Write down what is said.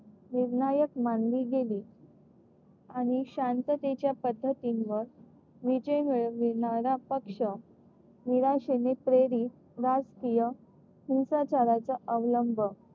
निर्णायक मानली गेली. आणि शांततेच्या पद्धतींवर विजय मिळविणारा पक्ष निराशेने प्रेरित राष्ट्रीय हिंसाचाराचा अवलंब